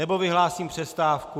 Nebo vyhlásím přestávku.